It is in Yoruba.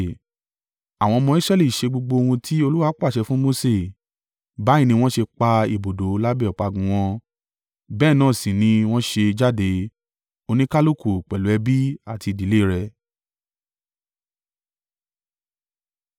Àwọn ọmọ Israẹli ṣe gbogbo ohun tí Olúwa pàṣẹ fún Mose, báyìí ni wọ́n ṣe pa ibùdó lábẹ́ ọ̀págun wọn, bẹ́ẹ̀ náà sì ni wọ́n ṣe jáde, oníkálùkù pẹ̀lú ẹbí àti ìdílé rẹ̀.